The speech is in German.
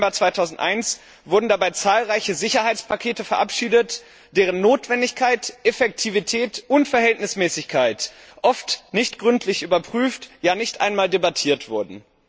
11. September 2001 wurden dabei zahlreiche Sicherheitspakete verabschiedet, deren Notwendigkeit, Effektivität und Verhältnismäßigkeit oft nicht gründlich überprüft, ja nicht einmal debattiert wurden.